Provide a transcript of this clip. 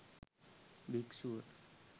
භික්ෂුව